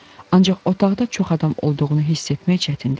Ancaq otaqda çox adam olduğunu hiss etmək çətin deyildi.